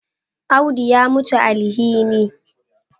Audu ya mutuwan alhini